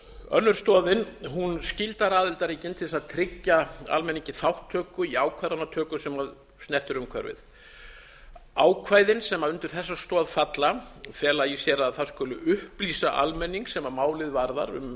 önnur stoðin skyldar aðildarríkin til þess að tryggja almenningi þátttöku í ákvarðanatöku sem snertir umhverfið ákvæðin sem undir þessa stoð falla fela í sér að það skuli upplýsa almenning sem málið varðar um